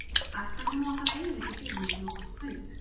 Ætlarðu nú að fara að eyðileggja fyrir mér svona gott kaup?